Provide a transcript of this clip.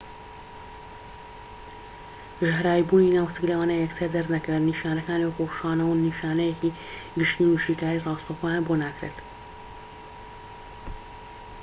ژەهراویبوونی ناوسک لەوانەیە یەکسەر دەرنەکەوێت نیشانەکان وەکو ڕشانەوە نیشانەیەکی گشتین و شیکاریی راستەوخۆیان بۆ ناکرێت